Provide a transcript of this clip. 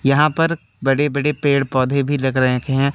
यहां पर बड़े बड़े पेड़ पौधे भी रग रखे हैं।